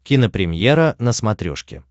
кинопремьера на смотрешке